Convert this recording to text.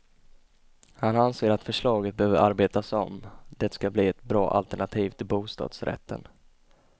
Han anser att förslaget behöver arbetas om det ska bli ett bra alternativ till bostadsrätten.